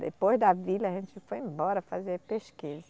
Depois da vila, a gente foi embora fazer pesquisa.